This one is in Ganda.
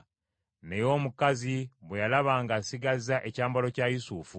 Naye omukazi bwe yalaba ng’asigazza ekyambalo kya Yusufu,